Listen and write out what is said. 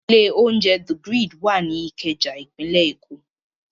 Ilé-oúnjẹ The Grid wà ní Ìkẹjà, ìpínlẹ̀ Èkó.